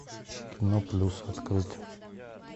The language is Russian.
кино плюс открыть